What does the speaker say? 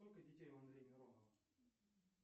сколько детей у андрея миронова